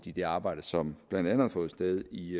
i det arbejde som blandt andet har fundet sted i